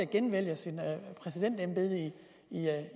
genvalgt til præsidentembedet